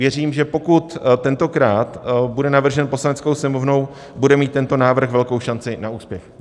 Věřím, že pokud tentokrát bude navržen Poslaneckou sněmovnou, bude mít tento návrh velkou šanci na úspěch.